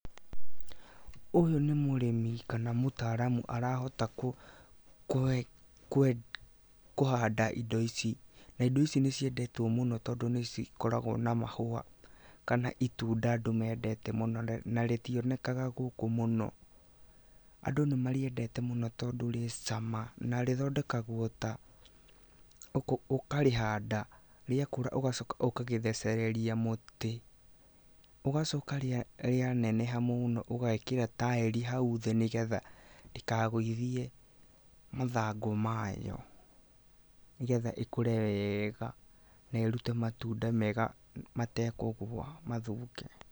Ũyũ nĩ mũrĩmi kana mũtaaramu arahota kũhanda indo ici, na indo ici nĩ ciendetwo mũno tondũ nĩ cikoragwo na mahũa kana itunda andũ mendete mũno na rĩtionekaga mũno. Andũ nĩ marĩendete mũno, tondũ rĩ cama na rĩthondekagwo ta; ũkarĩhanda, rĩakũra ũgacoka ũgarĩthecereria mũtĩ, ũgacoka rĩa neneha mũno ũgakĩra taĩri hau thĩ, nĩgetha ndĩkagũithie mathangũ mayo, nĩgetha ĩkũre wega na ĩrute matunda mega matekũgwa mathũke.